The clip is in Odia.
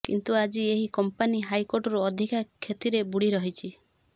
କିନ୍ତୁ ଆଜି ଏହି କମ୍ପାନୀ ହଜାରକୋଟିରୁ ଅଧିକା କ୍ଷତିରେ ବୁଡି ରହିଛି